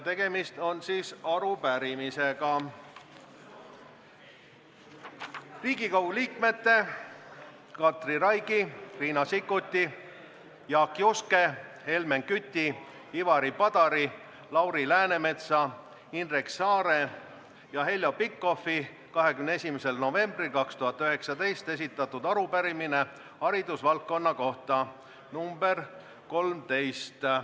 Tegemist on arupärimisega: Riigikogu liikmete Katri Raigi, Riina Sikkuti, Jaak Juske, Helmen Küti, Ivari Padari, Lauri Läänemetsa, Indrek Saare ja Heljo Pikhofi 21. novembril 2019 esitatud arupärimine haridusvaldkonna kohta .